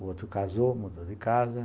O outro casou, mudou de casa.